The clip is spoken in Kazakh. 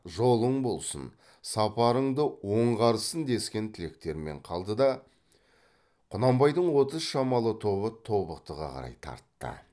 жолың болсын сапарыңды оңғарсын дескен тілектермен қалды да құнанбайдың отыз шамалы тобы тобықтыға қарай тартты